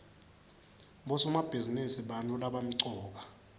bosomabhizinisi bantfu labamcoka